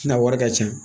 Na wari ka ca